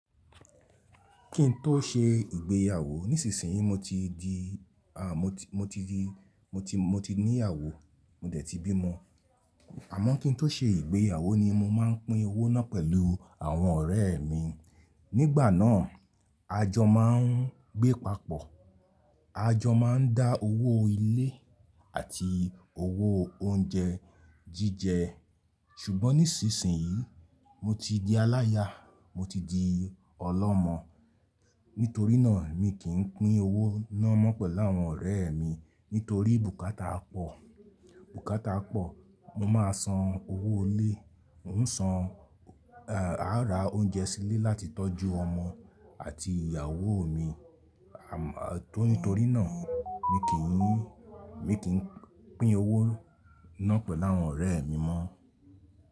Kín tó ṣe ìgbéyàwó nísinsìnyí mo ti di, à, mo ti mo ti di mo ti, ti ní ìyàwó, mo dẹ̀ ti bí ọmọ. Àmọ́ kín tó ṣe ìgbéyàwó ni mo máa ń pín owó náà pẹ̀lú àwọn ọ̀rẹ́ mi. Nígbà náà, àjọ máa ń gbé papọ̀, àjọ máa ń dá owó ilé àti owó oúnjẹ jíjẹ. Ṣùgbọ́n nísinsìnyí mo ti di aláya, mo ti di ọlọ́mọ. Nítorí náà mi kìí pín owó ná mọ́ pẹ̀lú àwọn ọ̀rẹ́ mi. Nítorí bùkátà pọ̀, bùkátà pọ̀. Mo máa san owó ilé, ń san è, a ra oúnjẹ sílé láti tọ́jú ọmọ àti ìyàwó mi. À nítorí náà mi kìí, mi kìí pín owó ná pẹ̀lú àwọn ọ̀rẹ́ mi mọ́.